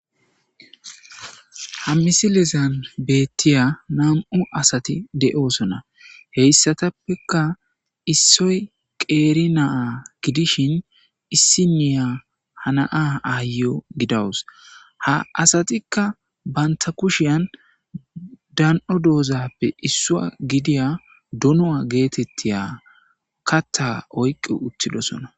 Ha misilizan beettiya nam7u asati de7oosona heyssatappeka issoy qeeri naa gidishin issi niya hanaa aayo gidawus ha asatikka banta kushiyan dan7o doozappe issua gidiya dunu'a geetettiya katta oyqi uttidosona.